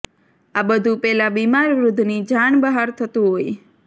આ બધું પેલા બીમાર વૃદ્ધની જાણ બહાર થતું હોય